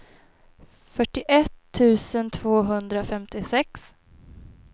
fyrtioett tusen tvåhundrafemtiosex